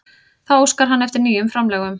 Þá óskar hann eftir nýjum framlögum